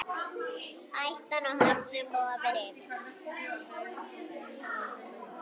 Hættan á höfnun vofir yfir.